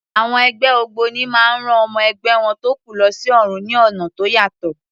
Àwọn ẹgbẹ́ ògbóni máa ń rán ọmọ ẹgbẹ́ wọn tó kú lọ sí ọ̀run ní ọ̀nà tó yàtọ̀.